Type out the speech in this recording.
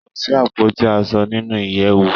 Kò sí àpótí aṣo nínú ìyèwù.